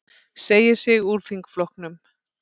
Segir sig úr þingflokknum